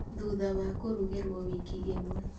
thuutha wa kũrugĩrwo wiki ĩmwe